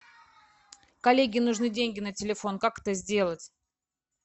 коллеге нужны деньги на телефон как это сделать